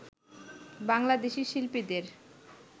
বাংলাদেশি শিল্পীদের